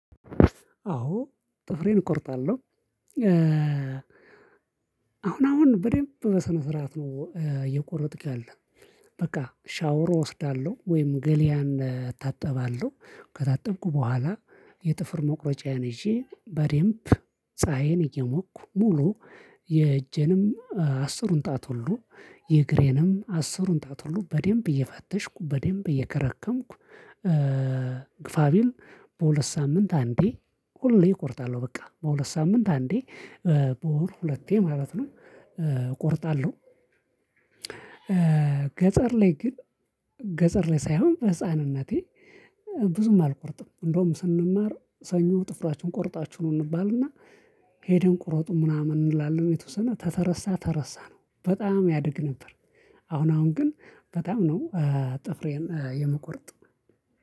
አዎ ጥፍሬን እቆርጣለሁ። አሁን አሁን በደንብ በስነ ስርዓት ነው እየቆረጥክ ያለ። በቃ ሻወር እወስዳለሁ ወይም ገሊያን እታጠባለሁ ከታጠብኩ በኋላ። የጥፍር መቁረጫዬን ይዤ በዴምብ ፀሀዬን እየሞኩ ሙሉ የእጄንም አስሩን ጣት ሁሉ የእግሬንም አስሩን ጣት ሁሉ በደንብ እየፈተሽኩ በደንብ እየከረከምኩ። ግፋቢል በሁለት ሳምንት አንዴ ሁሌ እቆርጣለሁ በቃ በሁለት ሳምንት አንዴ በወር ሁለቴ ማለት ነው እቆርጣለሁ። ገጠር ላይ ግን ገጠር ላይ ሳይሆን በህፃንነቴ ብዙም አልቆርጥም። እንደውም ስንማር ሰኞ ጥፍራችን ቆርጣችሁ ኑ እንባልና ሄደን ቁረጡን ምናምን እንላለን የተወሰነ ተተረሳ ተረሳ ነው በጣም ያድግ ነበር። አሁን አሁን ግን በጣም ነው። ጥፍሬን የምቁረጥ